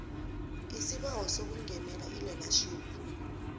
isibawo sokungenela ilearnership